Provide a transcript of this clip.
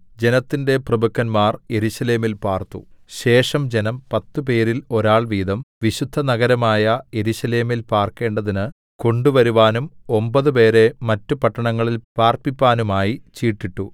ജനത്തിന്റെ പ്രഭുക്കന്മാർ യെരൂശലേമിൽ പാർത്തു ശേഷം ജനം പത്തുപേരിൽ ഒരാൾ വീതം വിശുദ്ധനഗരമായ യെരൂശലേമിൽ പാർക്കേണ്ടതിന് കൊണ്ടുവരുവാനും ഒമ്പത് പേരെ മറ്റ് പട്ടണങ്ങളിൽ പാർപ്പിപ്പാനുമായി ചീട്ടിട്ടു